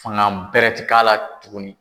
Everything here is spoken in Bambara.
Fanga bɛrɛ ti k'a la tuguni.